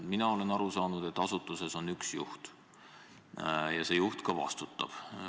Mina olen aru saanud, et asutuses on üks juht ja see juht ka vastutab.